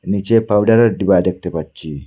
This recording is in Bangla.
নীচে পাউডারের ডিবা দেখতে পাচ্ছি।